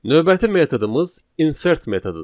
Növbəti metodumuz insert metodudur.